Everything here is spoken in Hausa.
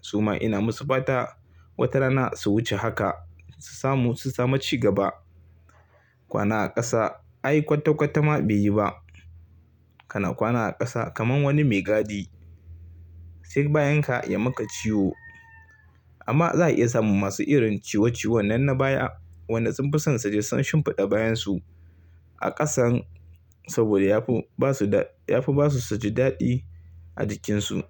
Su ma ina musu fata wata rana su wuce haka su samu, su samu cigaba. Kwana a ƙasa ai kwata-kwata ma be yi ba. Kana kwana a ƙasa kaman wani mai gadi. Sai bayan ka ya maka ciwo. Amma za a iya samun masu irin ciwo-ciwon nan na baya wanda sun fi son su ji sun shimfiɗa bayansu A ƙasan saboda yafi basu da, yafi basu su ji daɗi a jikinsu.